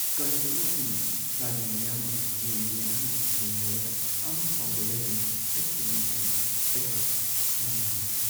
ꯀꯁꯇꯃꯔꯁꯤꯡꯅ ꯁꯥꯔꯤ ꯃꯌꯥꯝ ꯑꯃ ꯌꯦꯡꯒꯦ ꯍꯥꯏꯅ ꯌꯦꯡꯍꯜꯂꯒ ꯑꯃ ꯐꯥꯎꯕ ꯂꯩꯗꯅ ꯆꯠꯈꯤꯕ ꯃꯇꯝꯗ ꯑꯩꯍꯥꯛ ꯌꯥꯝꯅ ꯅꯨꯡꯉꯥꯏꯇꯦ ꯫